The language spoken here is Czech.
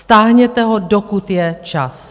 Stáhněte ho, dokud je čas.